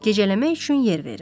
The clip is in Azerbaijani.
Gecələmək üçün yer verir.